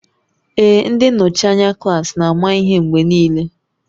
Ee, ndị nnọchi anya klaasị na-ama ihe mgbe niile